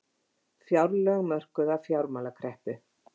Fjárlög mörkuð af fjármálakreppu